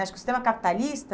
Acho que o sistema capitalista